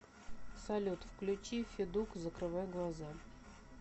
салют включи федук закрывай глаза